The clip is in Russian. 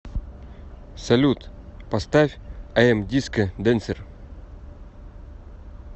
салют поставь ай эм э диско дэнсер